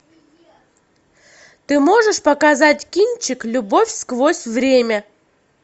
ты можешь показать кинчик любовь сквозь время